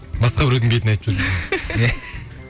басқа біреудің бетіне айтып жүр